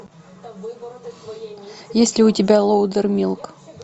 есть ли у тебя лоудермилк